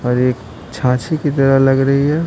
और एक छाछी की तरह लग रही है।